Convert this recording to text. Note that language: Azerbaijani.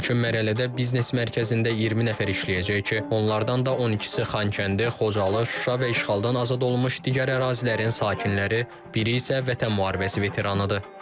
İlkin mərhələdə biznes mərkəzində 20 nəfər işləyəcək ki, onlardan da 12-si Xankəndi, Xocalı, Şuşa və işğaldan azad olunmuş digər ərazilərin sakinləri, biri isə Vətən müharibəsi veteranıdır.